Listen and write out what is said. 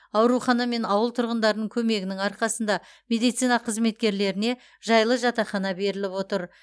аурухана мен ауыл тұрғындарының көмегінің арқасында медицина қызметкерлеріне жайлы жатақхана беріліп отыр